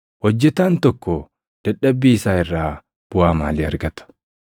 Hojjetaan tokko dadhabbii isaa irraa buʼaa maalii argata?